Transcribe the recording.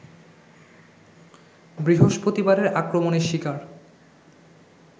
বৃহস্পতিবারের আক্রমণের শিকার